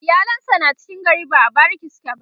iyalan sa na cikin gari ba a bariki suke ba